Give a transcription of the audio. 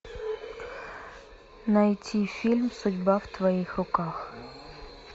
найти фильм судьба в твоих руках